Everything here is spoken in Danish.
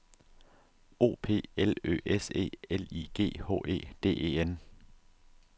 O P L Ø S E L I G H E D E N